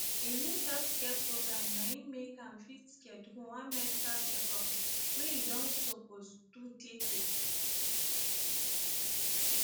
a new healthcare program na im make am fit schedule one medical checkup wey e don suppuse do tey tey